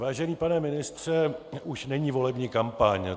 Vážený pane ministře, už není volební kampaň.